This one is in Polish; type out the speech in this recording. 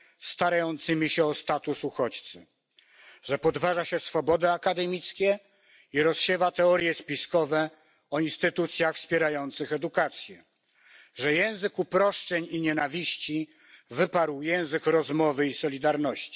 starającymi się o status uchodźcy, że podważa się swobody akademickie i rozsiewa teorie spiskowe o instytucjach wspierających edukację, że język uproszczeń i nienawiści wyparł język rozmowy i solidarności.